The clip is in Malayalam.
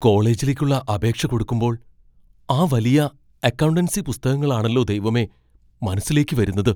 കോളേജിലേക്കുള്ള അപേക്ഷ കൊടുക്കുമ്പോൾ ആ വലിയ അക്കൗണ്ടൻസി പുസ്തകങ്ങളാണല്ലോ ദൈവമേ മനസ്സിലേക്ക് വരുന്നത്.